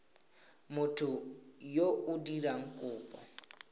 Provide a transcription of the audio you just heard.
motho yo o dirang kopo